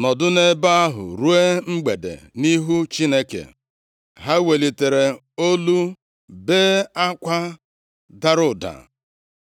nọdụ ebe ahụ ruo mgbede nʼihu Chineke. Ha welitere olu bee akwa dara ụda.